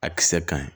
A kisɛ ka ɲi